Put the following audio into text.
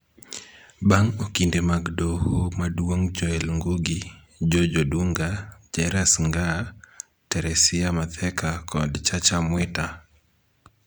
Bang' Okinde mag Doho Maduong' Joel Ngugi, George Odunga, Jairus Ngaah, Teresia Matheka kod Chacha Mwita